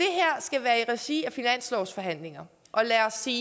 regi af finanslovsforhandlinger og lad os sige